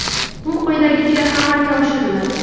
Bu quyidagicha amalga oshiriladi.